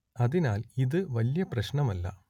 അതിനാൽ ഇതു വലിയ പ്രശ്നം അല്ല